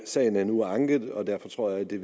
sagen er nu anket og derfor tror jeg at det